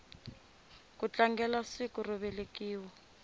ku tlangelasiku ro velekiwa